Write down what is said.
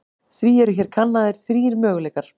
Því eru hér kannaðir þrír möguleikar.